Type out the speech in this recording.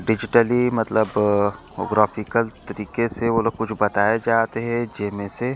digitally मतबल graphical तरिके से ओला कुछ बताये जात हे जेमे से--